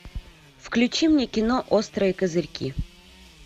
включи мне кино острые козырьки